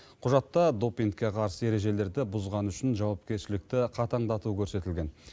құжатта допингке қарсы ережелерді бұзғаны үшін жауапкершілікті қатаңдату көрсетілген